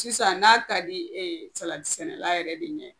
Sisan n'a ka di salati sɛnɛla yɛrɛ de ɲɛ.